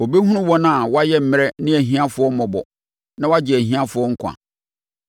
Ɔbɛhunu wɔn a wɔayɛ mmrɛ ne ahiafoɔ mmɔbɔ na wagye ahiafoɔ nkwa.